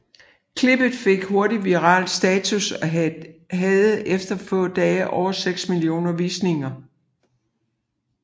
Klippet fik hurtigt viral status og havde efter få dage over seks millioner visninger